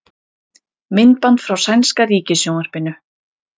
Myndband frá sænska ríkissjónvarpinu